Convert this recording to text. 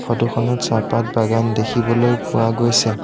Photo খনত চাহপাত বাগান দেখিবলৈ পোৱা গৈছে।